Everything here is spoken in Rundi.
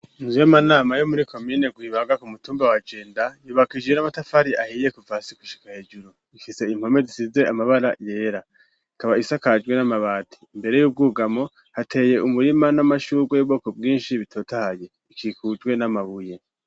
Inzu y'amanama yo muri komine Rwibaga ku mutumba wa Jenda yubakishije amatafari ahiye kuva hasi gushika hejuru, ifise impome zisize amabara yera, ikaba isakajwe n'amabati, imbere y'ubwugamo hateye umurima n'amashurwe y'ubwoko bwinshi bitotahaye, ikikujwe n'amabuye.